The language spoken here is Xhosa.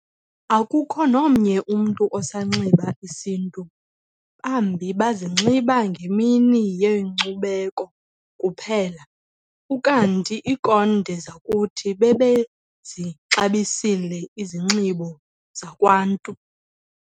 akukho nomnye umntu osanxiba isiNtu, bambi bazinxiba ngemini yeNkcubeko kuphela, ukanti inkonde zakuthi bebezixabisile izinxibo zakwNntu.